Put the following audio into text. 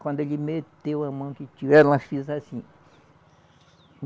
Quando ele meteu a mão que tirou, ela fez assim.